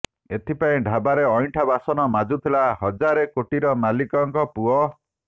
ଏଥିପାଇଁ ଢାବାରେ ଅଇଁଠା ବାସନ ମାଜୁଥିଲା ହଜାରେ କୋଟିର ମାଲିକଙ୍କ ପୁଅ